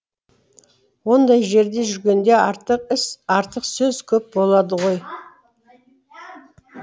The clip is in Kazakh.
ондай жерде жүргенде артық іс артық сөз көп болады ғой